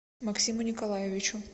максиму николаевичу